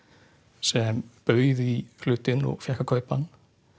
sem bauð í hlutinn og fékk að kaupa hann